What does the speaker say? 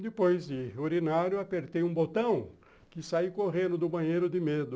Depois de urinar, apertei um botão que saí correndo do banheiro de medo.